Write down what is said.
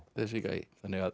þessi gæi